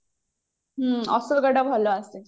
ହଁ ଭଲ ଆସେ